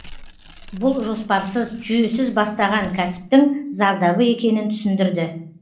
бұл жоспарсыз жүйесіз бастаған кәсіптің зардабы екенін түсіндірді